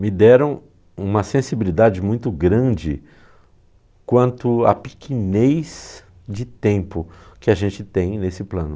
me deram uma sensibilidade muito grande quanto à pequenez de tempo que a gente tem nesse plano.